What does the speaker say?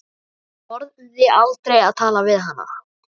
En ég þorði aldrei að tala við hana.